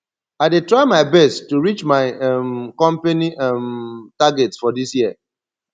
i dey try my best to reach my um company um target for dis year